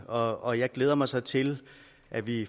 og jeg glæder mig så til at vi